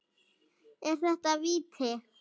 Er þetta víti?